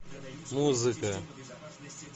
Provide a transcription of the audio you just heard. музыка